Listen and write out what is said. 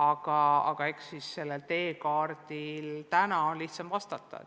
ning eks selle teekaardi abil on täna lihtsam vastata.